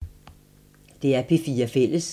DR P4 Fælles